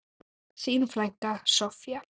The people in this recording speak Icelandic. Þín frænka, Soffía.